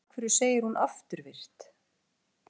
En af hverju segir hún afturvirkt?